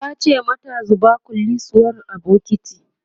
tace mata "zuba kullisuwar a bukitin!"